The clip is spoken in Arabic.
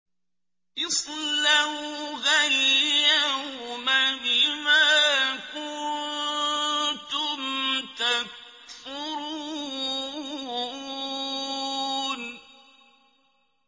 اصْلَوْهَا الْيَوْمَ بِمَا كُنتُمْ تَكْفُرُونَ